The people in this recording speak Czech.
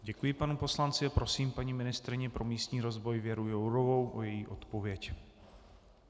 Děkuji panu poslanci a prosím paní ministryni pro místní rozvoj Věru Jourovou o její odpověď.